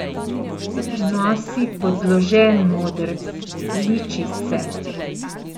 Nosi podložen modrc, liči se.